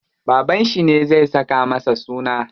Babanshi ne zai saka masa suna.